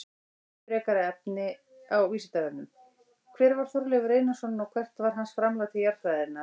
Frekara lesefni á Vísindavefnum: Hver var Þorleifur Einarsson og hvert var hans framlag til jarðfræðinnar?